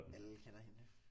Alle kender hende